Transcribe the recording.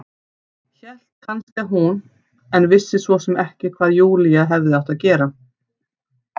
Hélt kannski að hún- en vissi svo sem ekki hvað Júlía hefði átt að gera.